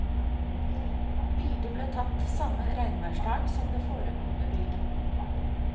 Bildet ble tatt samme regnværsdag som det foregående bilde.